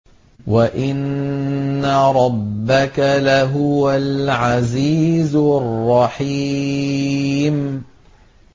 وَإِنَّ رَبَّكَ لَهُوَ الْعَزِيزُ الرَّحِيمُ